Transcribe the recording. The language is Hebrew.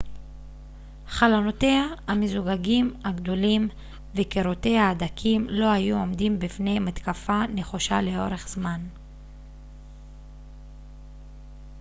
חלונותיה המזוגגים הגדולים וקירותיה הדקים לא היו עומדים בפני מתקפה נחושה לאורך זמן